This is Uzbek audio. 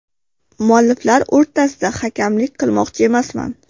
Mualliflar o‘rtasida hakamlik qilmoqchi emasman.